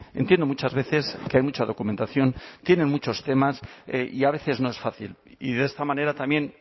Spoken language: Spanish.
entiendo muchas veces que hay mucha documentación tienen muchos temas y a veces no es fácil y de esta manera también